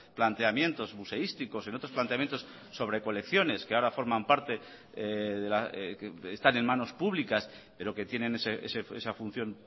planteamientos museísticos en otros planteamientos sobre colecciones que ahora forman parte que están en manos públicas pero que tienen esa función